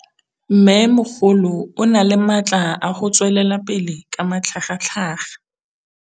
Mmêmogolo o na le matla a go tswelela pele ka matlhagatlhaga.